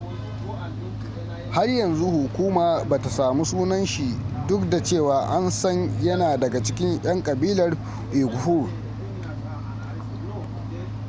har yanzu hukuma bata samu sunan shi duk da cewa an san yana daga cikin yan kabilar uighur